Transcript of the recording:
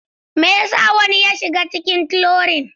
Me yasa wani ya shiga cikin trolling?